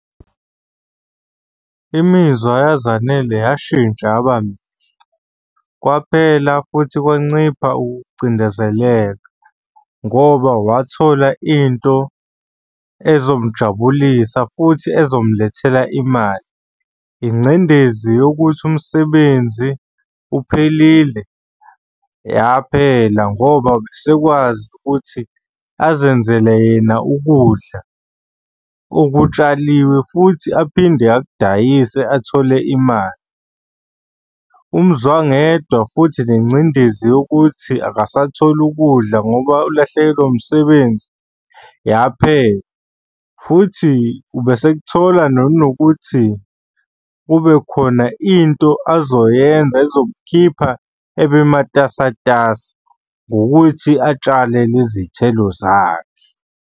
Imizwa yaZanele yashintsha yabamihle. Kwaphela futhi kwancipha ukucindezeleka ngoba wathola into ezomujabulisa futhi ezomulethela imali. Ingcindezi yokuthi umsebenzi uphelile yaphela ngoba esekwazi ukuthi azenzele yena ukudla okutshaliwe futhi aphinde akudayise athole imali. Umzwangedwa futhi nengcindezi yokuthi akasatholakali ukudla ngoba ulahlekelwe umsebenzi yaphela futhi ubesekuthola nanokuthi kube khona into azoyenza ezomkhipha ebe matasatasa ngokuthi atshale lezi thelo zakhe.